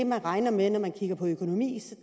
man regner med når man kigger på økonomien